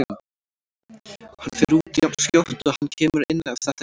Hann fer út jafnskjótt og hann kemur inn ef þetta gengur ekki.